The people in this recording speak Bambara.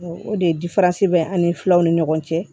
O de ye bɛ ani filaw ni ɲɔgɔn cɛ